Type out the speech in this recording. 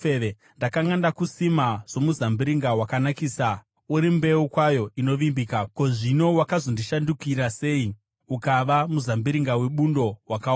Ndakanga ndakusima somuzambiringa wakanakisa, uri mbeu kwayo inovimbika. Ko, zvino wakazondishandukira sei ukava muzambiringa webundo wakaora?